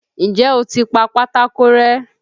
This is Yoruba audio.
N jẹ́ o ti pa pátákó rẹ́?